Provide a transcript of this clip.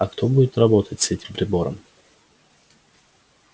а кто будет работать с этим прибором